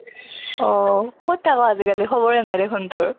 অহ কʼত থাকʼ আজি কালি খাবৰে নাই দেখুন তোৰ?